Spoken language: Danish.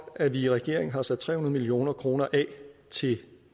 at vi i regeringen har sat tre hundrede million kroner af til